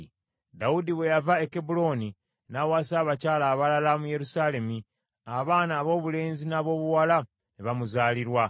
Dawudi bwe yava e Kebbulooni n’awasa abakyala abalala mu Yerusaalemi, abaana aboobulenzi n’aboobuwala ne bamuzaalirwa.